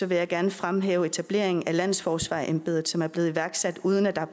vil jeg gerne fremhæve etableringen af landsforsvarsembedet som er blevet iværksat uden at der